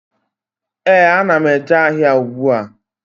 Ee, a na m eje ahịa ùgbúà